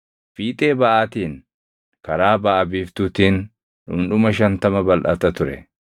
Fiixee baʼaatiin, karaa baʼa biiftuutiin dhundhuma shantama balʼata ture.